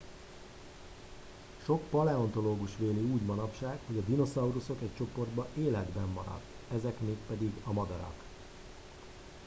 sok paleontológus véli úgy manapság hogy a dinoszauruszok egy csoportja életben maradt ezek mégpedig a madarak